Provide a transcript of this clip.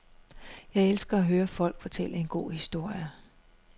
Jeg elsker at høre folk fortælle en god historie.